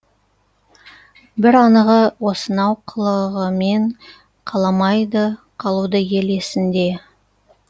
бір анығы осынау қылығымен қаламайды қалуды ел есінде